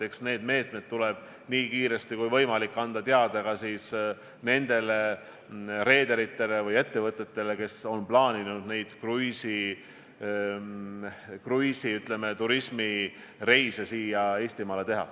Eks need piirangud tuleb nii kiiresti kui võimalik anda teada ka reederitele ja ettevõtetele, kes on plaaninud teha kruiisireise Eestimaale.